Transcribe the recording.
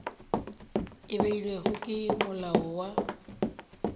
e beilwego ke molao wa